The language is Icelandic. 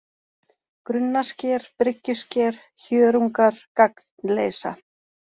Grunnasker, Bryggjusker, Hjörungar, Gagnleysa